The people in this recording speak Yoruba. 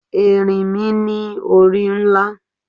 Erinmi ni ori nla